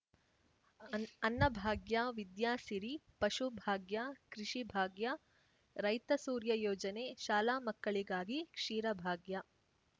ಅನ್ ಅನ್ನಭಾಗ್ಯ ವಿದ್ಯಾಸಿರಿ ಪಶುಭಾಗ್ಯ ಕೃಷಿಭಾಗ್ಯ ರೈತ ಸೂರ್ಯ ಯೋಜನೆ ಶಾಲಾ ಮಕ್ಕಳಿಗಾಗಿ ಕ್ಷೀರಭಾಗ್ಯ